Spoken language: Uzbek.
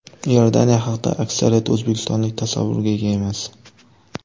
Iordaniya haqida aksariyat o‘zbekistonlik tasavvurga ega emas.